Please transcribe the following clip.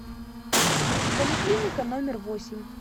поликлиника номер восемь